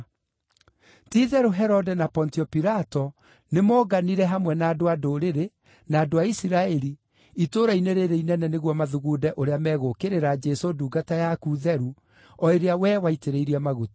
Ti-itherũ, Herode na Pontio Pilato nĩmoonganire hamwe na andũ-a-Ndũrĩrĩ, na andũ a Isiraeli, itũũra-inĩ rĩĩrĩ inene nĩguo mathugunde ũrĩa megũũkĩrĩra Jesũ ndungata yaku theru, o ĩrĩa wee waitĩrĩirie maguta.